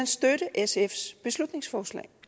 støtte sfs beslutningsforslag